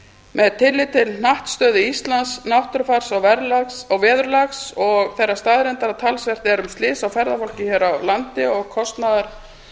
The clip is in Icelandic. með tilliti til hnattstöðu íslands náttúrufars og veðurlags og þeirrar staðreyndar að talsvert er um slys á ferðafólki hér á landi og kostnaðar